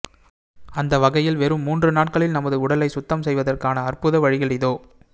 அந்த வகையில் வெறும் மூன்று நாட்களில் நமது உடலை சுத்தம் செய்வதற்கான அற்புத வழிகள் இதோ